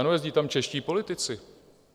Ano, jezdí tam čeští politici.